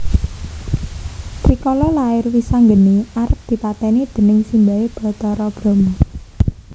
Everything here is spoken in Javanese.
Rikala lair Wisanggeni arep dipatèni déning simbahé Bathara Brama